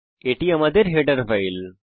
এটি আমাদের header file